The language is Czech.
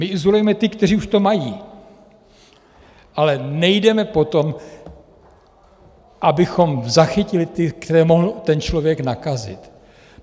My izolujeme ty, kteří už to mají, ale nejdeme po tom, abychom zachytili ty, které mohl ten člověk nakazit.